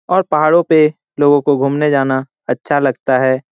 और पहाड़ों पे लोगों को घुमने जाना अच्छा लगता है।